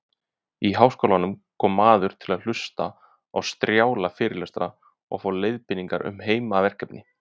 Í háskólann kom maður til að hlusta á strjála fyrirlestra og fá leiðbeiningar um heimaverkefni.